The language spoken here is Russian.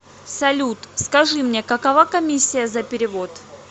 салют скажи мне какова коммисия за перевод